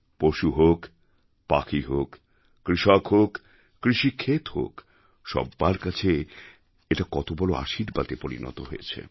পশু হোক পাখি হোক কৃষক হোক কৃষিখেত হোক সব্বার কাছে এটা কত বড় আশীর্বাদে পরিণত হয়েছে